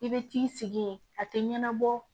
I bɛ t'i sigi yen a tɛ ɲɛnabɔ